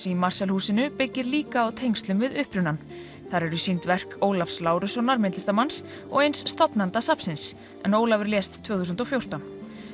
í Marshallhúsinu byggir líka á tengslum við upprunann þar eru sýnd verk Ólafs Lárussonar myndlistarmanns og eins stofnanda safnsins en Ólafur lést tvö þúsund og fjórtán